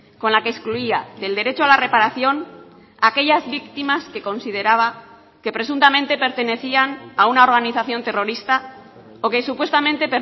con la que excluía del derecho a la reparación a aquellas víctimas que consideraba que presuntamente pertenecían a una organización terrorista o que supuestamente